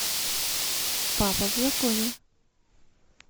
папа в законе